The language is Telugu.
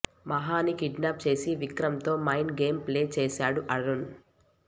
మహాని కిడ్నాప్ చేసి విక్రంతో మైండ్ గేమ్ ప్లే చేస్తాడు అరుణ్